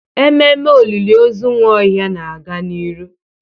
Ememe olili ozu Nwaohia na-aga n'ihu.